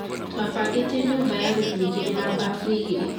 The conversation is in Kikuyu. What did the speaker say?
Twabangite nyũmba ya rumu igĩrĩ na bafu igĩrĩ